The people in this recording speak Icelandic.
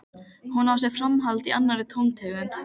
Hún á sér framhald í annarri tóntegund.